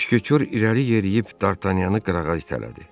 Müşketor irəli yeriyib Dartanyanı qırağa itələdi.